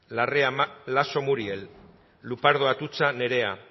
larrea laso muriel lupardo atutxa nerea